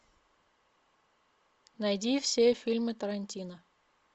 найди все фильмы тарантино